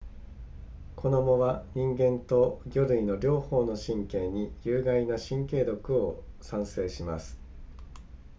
この藻は人間と魚類の両方の神経に有害な神経毒を産生します